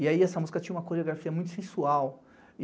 E aí essa música tinha uma coreografia muito sensual.